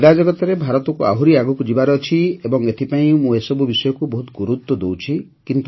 କ୍ରୀଡ଼ା ଜଗତରେ ଭାରତକୁ ଆହୁରି ଆଗକୁ ଯିବାର ଅଛି ଏବଂ ଏଥିପାଇଁ ମୁଁ ଏସବୁ ଜିନିଷକୁ ବହୁତ ଗୁରୁତ୍ୱ ଦେଉଛି